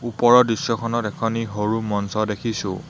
ওপৰৰ দৃশ্যখনত এখনি সৰু মঞ্চ দেখিছোঁ।